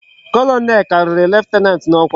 Colonel kariri lieutenant na okwa